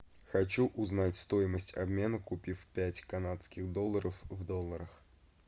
хочу узнать стоимость обмена купив пять канадских долларов в долларах